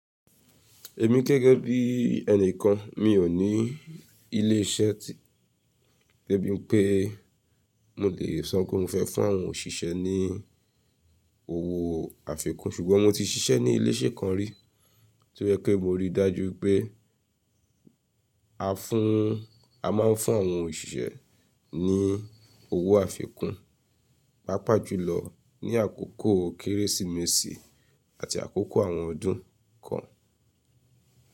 Èmi gẹ́gẹ́ bí ẹni kan, mi ò ní ilé iṣẹ́ de bí i pé mo le sọ pé mo fẹ́ fún àwọn òṣìṣẹ́ ní owó àfikún. Ṣùgbọ́n mo ti ṣiṣẹ́ ní ilé iṣẹ́ kan rí tí ó jẹ́ pé mo rí i dájú pé a fún, a máa ń fún àwọn òṣìṣẹ́ ní owó àfikún, pàápàá jùlọ ní àkókò Kérésìmesì àti àkókò àwọn ọdún kan.